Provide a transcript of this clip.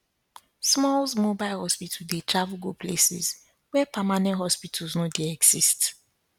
smalls mobile hospital dey travel go places where permanent hospitals no dy exist